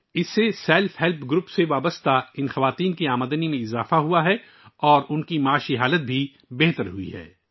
اس کے ذریعے self help groups سے وابستہ ان خواتین کی آمدنی میں اضافہ ہوا ہے، اور ان کی مالی حالت میں بھی بہتری آئی ہے